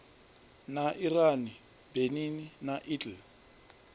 na iran benin na italy